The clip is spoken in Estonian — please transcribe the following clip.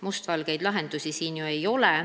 Mustvalgeid lahendusi siin ju ei ole.